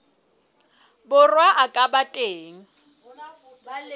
borwa a ka ba teng